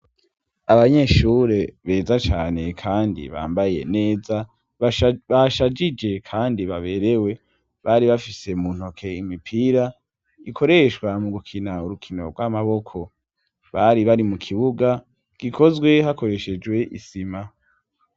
Abanyeshure beza cane kandi bambaye neza, bashajije kandi baberewe, bari bafise mu ntoke imipira ikoreshwa mu gukina urukino rw'amaboko, bari bari mu kibuga gikozwe hakoreshejwe isima.